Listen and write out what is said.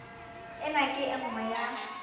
ena ke e nngwe ya